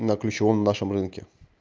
на ключевом нашем рынке